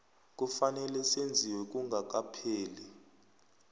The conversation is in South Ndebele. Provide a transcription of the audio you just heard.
kufanele senziwe kungakapheli